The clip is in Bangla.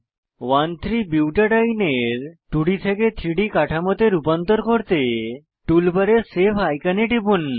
13 বুটাডিন এর 2ডি থেকে 3ডি কাঠামোতে রূপান্তর করতে টুলবারে সেভ আইকনে টিপুন